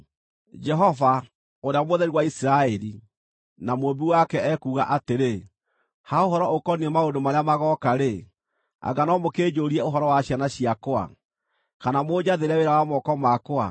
“Jehova, Ũrĩa Mũtheru wa Isiraeli, na Mũũmbi wake, ekuuga atĩrĩ: Ha ũhoro ũkoniĩ maũndũ marĩa magooka-rĩ, anga no mũkĩnjũũrie ũhoro wa ciana ciakwa, kana mũnjathĩre wĩra wa moko makwa?